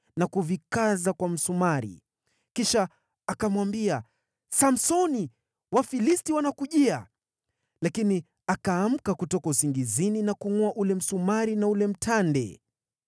na kuvikaza kwa msumari. Kisha akamwambia, “Samsoni, Wafilisti wanakujia!” Lakini akaamka kutoka usingizini na kuungʼoa ule msumari na ule mtande.